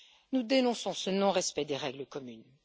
Nous dénonçons ce non respect des règles communes.